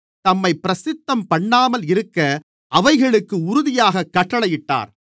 தம்மைப் பிரசித்தம் பண்ணாமல் இருக்க அவைகளுக்கு உறுதியாகக் கட்டளையிட்டார்